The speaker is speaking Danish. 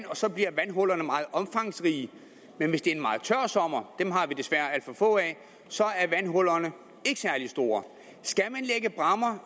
og så bliver vandhullerne meget omfangsrige men hvis det er en meget tør sommer dem har vi desværre alt for få af er vandhullerne ikke særlig store